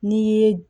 N'i ye